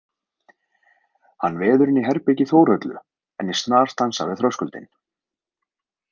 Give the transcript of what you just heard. Hann veður inn í herbergi Þórhöllu en ég snarstansa við þröskuldinn.